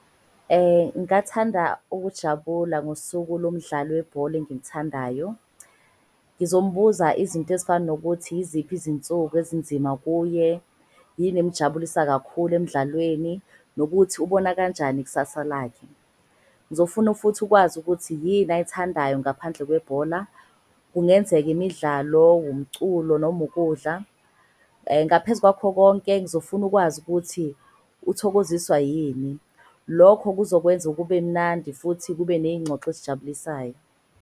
Ngathanda ukujabula ngosuku lomdlali webhola engimuthandayo ngizombuza izinto ezifana nokuthi. Yiziphi izinsuku ezinzima kuye? Yini emujabulisa kakhulu emdlalweni nokuthi ubona kanjani ikusasa lakhe? Ngizofuna futhi ukwazi ukuthi yini ayithandayo ngaphandle owebhola? Kungenzeka imidlalo wumculo noma ukudla, ngaphezu kwakho konke ngizofuna ukwazi ukuthi. Uthokoziswa yini? Lokho kuzokwenza kube mnandi futhi kube neyingxoxo ezijabulisayo.